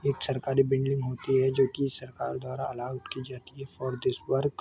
एक सरकारी बिल्डिंग होती है जो कि सरकार द्वारा अल्लोव की जाती है फॉर दिस वर्क --